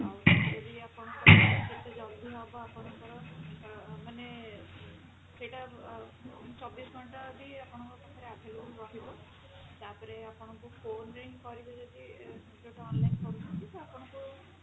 ଆଉ ଯେତେ ଜଲ୍ଦି ହେବ ଆପଣଙ୍କର ମାନେ ସେଟା ଚବିଶି ଘଣ୍ଟା ବି ଆପଣଙ୍କ ପାଖେ available ରହିବ ତାପରେ ଆପଣଙ୍କୁ phone ରେ ହିଁ କରିବେ ଯଦି ଏବେ ତ online କରୁଛନ୍ତି ତ ଆପଣଙ୍କୁ